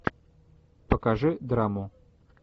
покажи драму